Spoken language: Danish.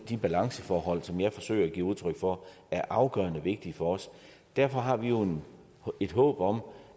de balanceforhold som jeg forsøger at give udtryk for er afgørende vigtige for os derfor har vi jo et håb om